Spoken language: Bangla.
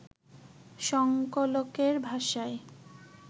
সংকলকের ভাষায়